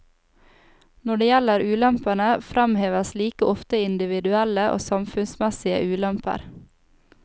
Når det gjelder ulempene, fremheves like ofte individuelle og samfunnsmessige ulemper.